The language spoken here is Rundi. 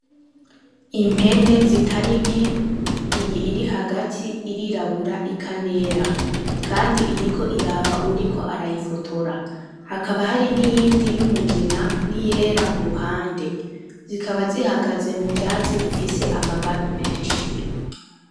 Impene zitari nke, iyi iri hagati irirabura ikanera, kandi iriko iraba uwuriko arayifotora, hakaba hari niyindi y'umugina n'iyera kuruhande, zikaba zihagaze mu vyatsi bifise amababi menshi.